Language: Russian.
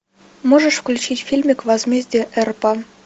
можешь включить фильмик возмездие эрпа